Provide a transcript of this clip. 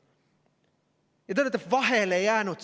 Te olete sellega vahele jäänud.